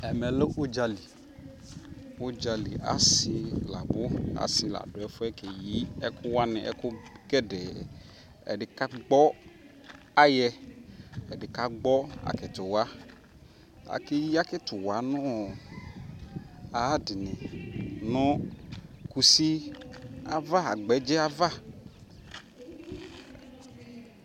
Ɛmɛ lɛ udzali, udzali asi ladʋ asi ladʋ ɛfu yɛ keyi ɛkʋwani, ɛkʋgedee Ɛdi kagbɔ ayɛ, ɛdi kagbɔ akitiwa Akeyi akitiwa nʋ ayʋadi ni nʋ kusi ava agbɛdzɛ di ava